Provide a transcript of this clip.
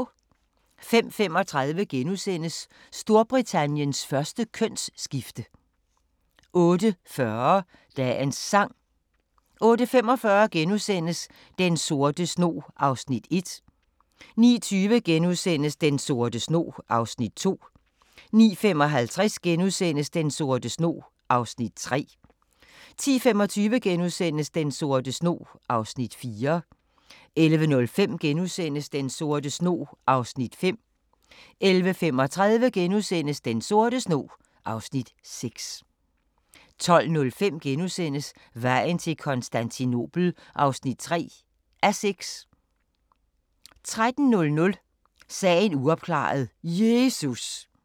05:35: Storbritanniens første kønsskifte * 08:40: Dagens Sang 08:45: Den sorte snog (Afs. 1)* 09:20: Den sorte snog (Afs. 2)* 09:55: Den sorte snog (Afs. 3)* 10:25: Den sorte snog (Afs. 4)* 11:05: Den sorte snog (Afs. 5)* 11:35: Den sorte snog (Afs. 6)* 12:05: Vejen til Konstantinopel (3:6)* 13:00: Sagen uopklaret – Jesus!